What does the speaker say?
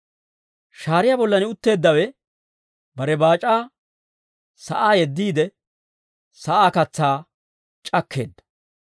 Shaariyaa bollan utteeddawe, bare baac'aa sa'aa yeddiide, sa'aa katsaa c'akkeedda.